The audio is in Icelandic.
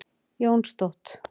Jónstótt